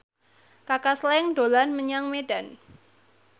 Kaka Slank dolan menyang Medan